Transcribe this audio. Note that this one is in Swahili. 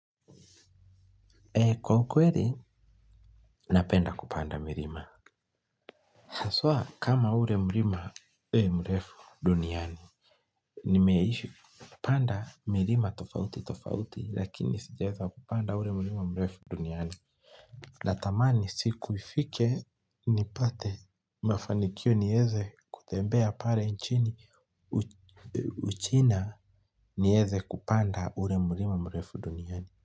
Kwa ukweli, napenda kupanda mirima. Haswa kama ule murima mrefu duniani, nimeishi. Kupanda milima tofauti tofauti, lakini sijaeza kupanda ulevmulima mrefu duniani. Natamani siku ifike, nipate mafanikio nieze kutembea pale nchini. Uchina nieze kupanda uremurima mrefu duniani.